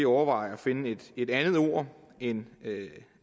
overveje at finde et andet ord end